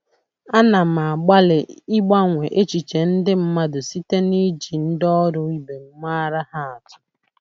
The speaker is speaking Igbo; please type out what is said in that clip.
Ana m agbalị ịgbanwe echiche ndị mmadụ site niji ndi oru ibem maara ha atu.